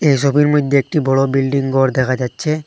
এসবের মইধ্যে একটি বড় বিল্ডিং ঘর দেখা যাচ্ছে।